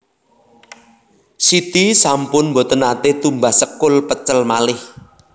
Siti sampun mboten nate tumbas sekul pecel malih